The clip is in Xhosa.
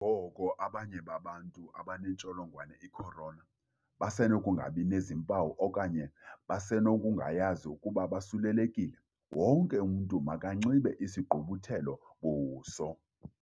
Ngoko abanye babantu abanentsholongwane i-Corona besenokungabi nazimpawu okanye besenokungayazi ukuba bosulelekile, wonke umntu makanxibe isigqubuthelo-buso.